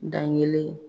Dan kelen